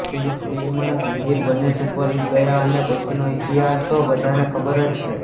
film અને જંજીર બંને superhit ગયાં અને પછીનો ઇતિહાસ તો બધાને ખબર જ છે